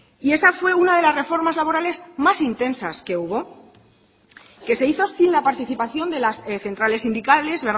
y esa fue una de las reformas laborales más intensas que hubo que se hizo sin la participación de las centrales sindicales